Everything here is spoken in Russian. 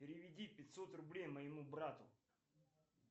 переведи пятьсот рублей моему брату